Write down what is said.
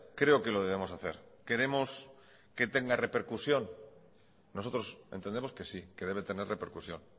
creo que lo debemos hacer queremos que tenga repercusión nosotros entendemos que sí que debe tener repercusión